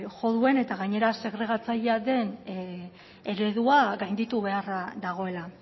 jo duen eta gainera segregatzailea den eredua gainditu beharra dagoela